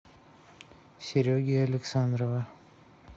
сереги александрова